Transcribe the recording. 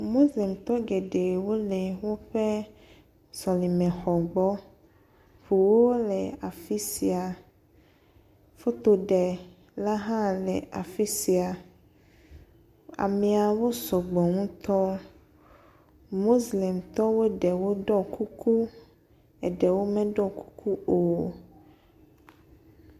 Moslemtɔ geɖe wo le woƒe sɔlemexɔ gbɔ. Ŋuwo le afi sia. Fotoɖela hã le afi sia. Ameawo sɔ gbɔ ŋutɔ. Moslemtɔ ɖewo ɖɔ kuku eɖewo meɖɔ kuku o.